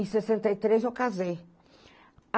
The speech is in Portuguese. Em sessenta e três eu casei.